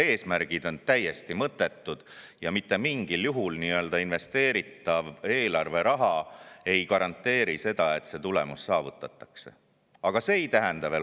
Need eesmärgid on täiesti mõttetud ja mitte mingil juhul investeeritav eelarveraha ei garanteeri seda, et tulemus saavutatakse.